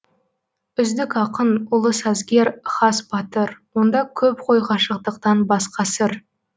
үздік ақын ұлы сазгер хас батыр онда көп қой ғашықтықтан басқа сыр